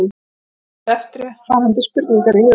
Hafið eftirfarandi spurningar í huga